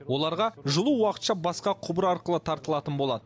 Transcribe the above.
оларға жылу уақытша басқа құбыр арқылы тартылатын болады